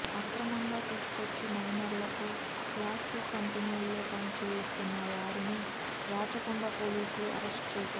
అక్రమంగా తీసుకొచ్చి మైనర్లతో ప్లాస్టిక్ కంపెనీల్లో పనులు చేయిస్తున్న వారిని రాచ కొండ పోలీసులు అరెస్టు చేశారు